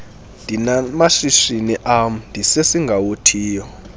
ndinamashishini am ndisesingawothiyo